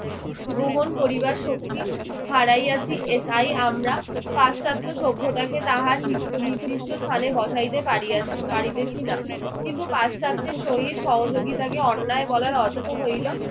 গ্রহণ করিবার শক্তি হারাইয়াছি। তাই আমরা পাশ্চাত্য সভ্যতাকে তাহার নিত্য নিদিষ্ট স্থানে বসাইতে পারিয়াছি পারিতেছি না। কিন্তু পাশ্চাত্যের সহিত সহযোগিতাকে অন্যায় বলার অর্থ হইল,